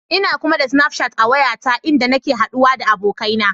Ina kuma da Snafchat a wayata inda nake haɗawa da abokaina.